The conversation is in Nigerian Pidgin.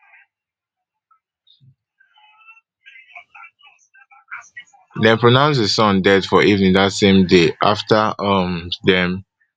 dem pronounce di son dead for evening dat same day afta um dem